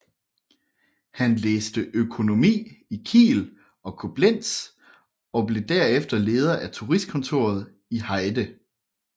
Han læste økonomi i Kiel og Koblenz og blev derefter leder af turistkontoret i Heide